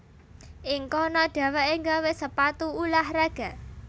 Ing kono dhéwéké gawé sepatu ulah raga